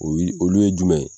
O wili, olu ye jumɛn ye.